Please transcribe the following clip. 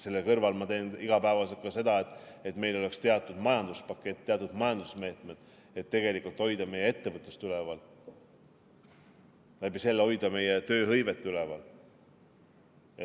Selle kõrval ma teen iga päev ka seda, et meil oleks teatud majanduspakett, teatud majandusmeetmed, et hoida meie ettevõtlust üleval, selle kaudu hoida meie tööhõivet üleval.